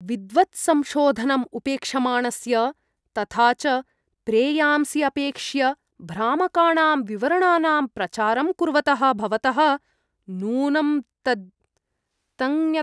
विद्वत्संशोधनम् उपेक्षमाणस्य तथा च प्रेयांसि अपेक्ष्य भ्रामकाणां विवरणानां प्रचारं कुर्वतः भवतः नूनं तञ्ज्ञत्वस्य मौल्यस्य परिज्ञानम् अस्ति वेति मम सन्देहः।